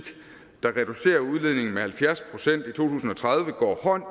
der reducerer udledningen med halvfjerds procent i to tusind og tredive går hånd